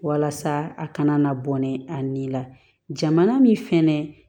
Walasa a kana na bɔ ni a nin la jamana min fɛnɛ